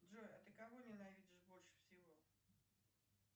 джой а ты кого ненавидишь больше всего